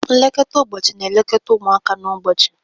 Nlekọta ụbọchị na-elekọta ụmụaka n'ụbọchị.